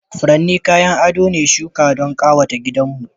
furanni kayan ado ne shuka don kawata gidanmu